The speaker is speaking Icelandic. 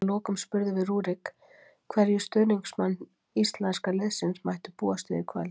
Að lokum spurðum við Rúrik hverju stuðningsmenn íslenska liðsins mættu búast við í kvöld.